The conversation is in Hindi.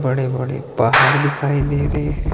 बड़े बड़े पहाड़ दिखाई दे रहे हैं।